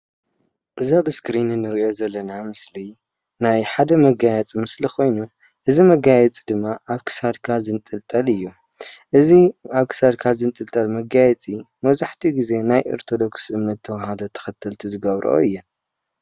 እዚ አብ እስክሪን ንሪኦ ዘለና ምስሊ ናይ ሓደ መጋየፂ ምስሊ ኮይኑ እዚ መጋየፂ ድማ አብ ክሳድካ ዝንጥልጠል እዩ። እዚ አብ ክሳድካ ዝንጥልጠል መጋየፂ መብዛሕትኡ ግዜ ናይ ኦርቶዶክስ እምነት ተዋህዶ ተከተልቲ ዝገብርኦ እየን።